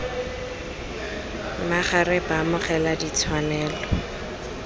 me ga re baamogela ditshwanelo